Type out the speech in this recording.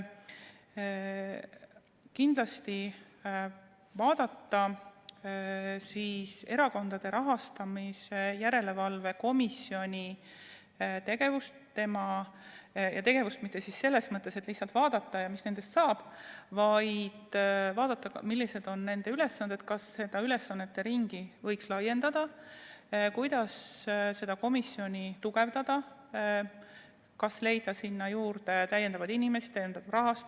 Kindlasti on plaanis vaadata Erakondade Rahastamise Järelevalve Komisjoni tegevust, aga mitte selles mõttes, et lihtsalt vaadata, mis nendest saab, vaid vaadata, millised on nende ülesanded, kas seda ülesannete ringi võiks laiendada, kuidas komisjoni tugevdada, kas leida sinna juurde rohkem inimesi ja lisaraha.